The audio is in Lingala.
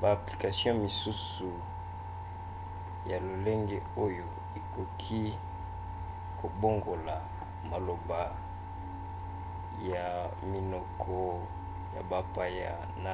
ba application misusu ya lolenge oyo ekoki kobongola maloba ya minoko ya bapaya na